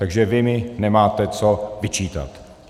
Takže vy mi nemáte co vyčítat.